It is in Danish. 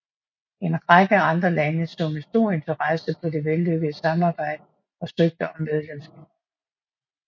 En række andre lande så med stor interesse på det vellykkede samarbejde og søgte om medlemskab